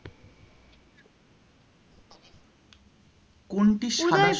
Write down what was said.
কোনটি সাদা?